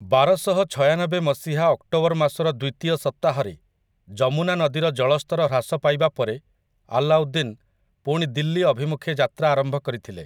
ବାରଶହଛୟାନବେ ମସିହା ଅକ୍ଟୋବର ମାସର ଦ୍ୱିତୀୟ ସପ୍ତାହରେ ଯମୁନା ନଦୀର ଜଳସ୍ତର ହ୍ରାସ ପାଇବା ପରେ ଆଲାଉଦ୍ଦିନ୍ ପୁଣି ଦିଲ୍ଲୀ ଅଭିମୁଖେ ଯାତ୍ରା ଆରମ୍ଭ କରିଥିଲେ ।